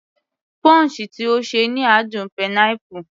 Punch tí ó ṣe ni àádùn pineapple